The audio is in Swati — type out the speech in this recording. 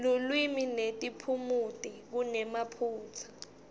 lulwimi netiphumuti kunemaphutsa